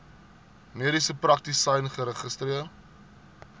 mediese praktisyn geregistreer